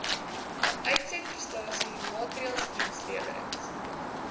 uitsetprestasie maatreëls dienslewerings